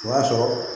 O b'a sɔrɔ